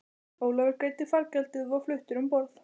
Ólafur greiddi fargjaldið og var fluttur um borð.